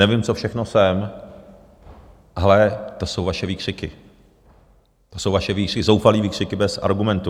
Nevím, co všechno jsem, ale to jsou vaše výkřiky, to jsou vaše zoufalé výkřiky bez argumentů.